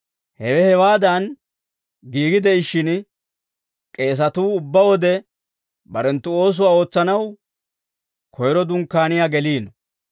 Hewe hewaadan giigi de'ishshin, k'eesatuu ubbaa wode, barenttu oosuwaa ootsanaw koyro Dunkkaaniyaa geliino.